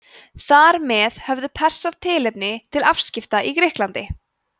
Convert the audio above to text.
þar með höfðu persar tilefni til afskipta í grikklandi